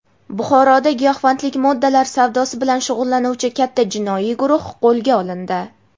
Buxoroda giyohvandlik moddalar savdosi bilan shug‘ullanuvchi katta jinoiy guruh qo‘lga olindi.